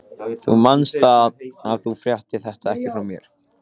Þú manst það, að þú fréttir þetta ekki frá mér.